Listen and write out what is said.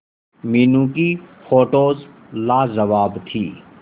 मीनू की फोटोज लाजवाब थी